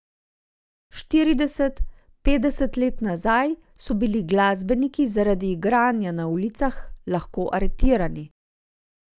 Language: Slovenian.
Štirideset, petdeset let nazaj so bili glasbeniki zaradi igranja na ulicah lahko aretirani.